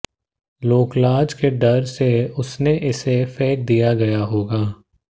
लोकलाज के डर से उसने इसे फेंक दिया गया होगा